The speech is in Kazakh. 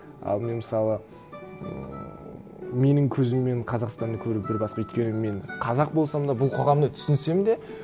ал мен мысалы ммм менің көзіммен қазақстанды көру бір басқа өйткені мен қазақ болсам да бұл қоғамды түсінсем де